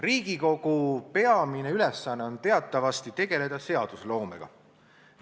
Riigikogu peamine ülesanne on teatavasti tegeleda seadusloomega.